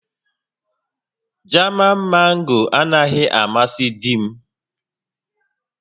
Jaman Mango anaghị amasị di m